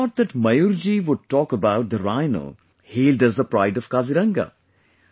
I thought that Mayur ji would talk about the Rhino, hailed as the pride of Kaziranga